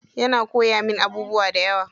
Yana koyawa min abubuwa dayawa.